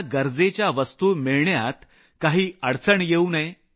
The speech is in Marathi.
गरजेच्या वस्तु मिळण्यात काही अडचण होऊ नये